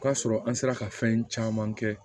O k'a sɔrɔ an sera ka fɛn caman kɛ